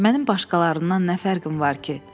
Mənim başqalarından nə fərqim var ki?